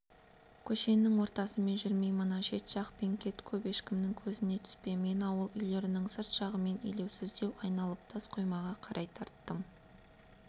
көшенің ортасымен жүрмей мына шет жақпен кет көп ешкімнің көзіне түспе мен ауыл үйлерінің сырт жағымен елеусіздеу айналып тас қоймаға қарай тарттым